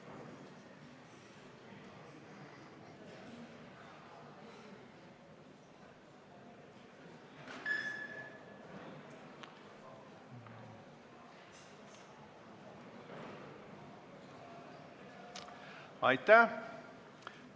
Hääletustulemused Aitäh!